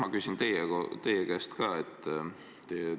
Ma küsin teie käest ka seda.